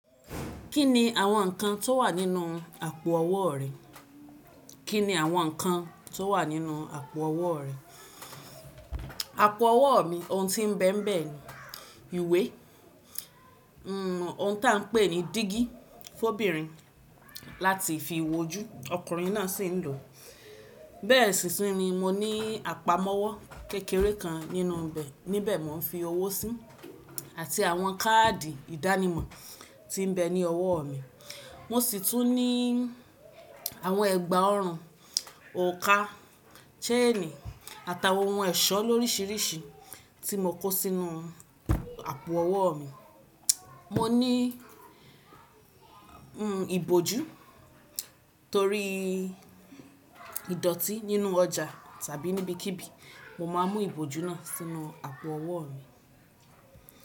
Kí ni àwọn ǹkan tó wà nínú àpò ọwọ́ rẹ? Àpò ọwọ́ mi, oun tí ń bẹ́ bẹ́ ni ìwé, oun ti à ń pè ní dígí fóbìnrin láti fi wojú ọkùnrin náà sì ń lò. Bẹ́ẹ̀ sìsin ni mo ní àpamọ́wọ́ kékeré kan nínú bẹ̀, níbẹ̀ mo ń fi owó sí àti àwọn káàdì ìdánimọ̀ tí ń bẹ ní ọwọ́ mi. Mo sì tún ní àwọn ẹgba ọrùn, òrukà, ṣẹ́ẹ̀nì àtàwọn oun ẹ̀ṣọ́ lórisirísi tí mo kó sínú àpò ọwọ́ mi. Mo ní ìbòjú torí idoti nínú ọjà tàbí níbikíbi mo máa mú ìbòjú náà sínú àpò ọwọ́ mi.